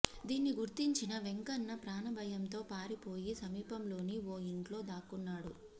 దీన్ని గుర్తించిన వెంకన్న ప్రాణభయంతో పారిపోయి సమీపంలోని ఓ ఇంట్లో దాక్కున్నాడు